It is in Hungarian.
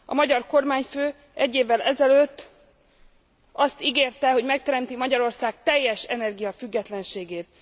A magyar kormányfő egy évvel ezelőtt azt ígérte, hogy megteremti Magyarország teljes energiafüggetlenségét.